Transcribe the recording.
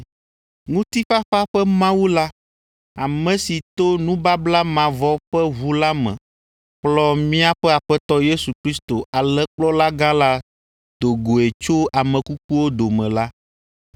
Ŋutifafa ƒe Mawu la ame si to nubabla mavɔ ƒe ʋu la me kplɔ míaƒe Aƒetɔ Yesu Kristo Alẽkplɔlagã la do goe tso ame kukuwo dome la